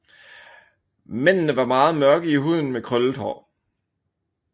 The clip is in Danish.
Mændene var meget mørke i huden med krøllet hår